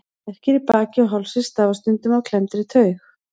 Verkir í baki og hálsi stafa stundum af klemmdri taug.